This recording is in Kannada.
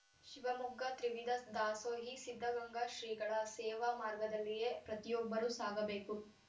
ಶಿವಮೊಗ್ಗ ತ್ರಿವಿಧ ದಾಸೋಹಿ ಸಿದ್ಧಗಂಗಾ ಶ್ರೀಗಳ ಸೇವಾ ಮಾರ್ಗದಲ್ಲಿಯೇ ಪ್ರತಿಯೊಬ್ಬರೂ ಸಾಗಬೇಕು